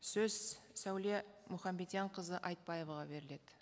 сөз сәуле мұханбедианқызы айтбаеваға беріледі